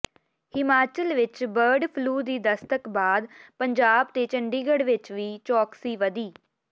ਹਿਮਾਚਲ ਵਿਚ bird flu ਦੀ ਦਸਤਕ ਬਾਅਦ ਪੰਜਾਬ ਤੇ ਚੰਡੀਗੜ੍ਹ ਵਿਚ ਵੀ ਚੌਕਸੀ ਵਧੀ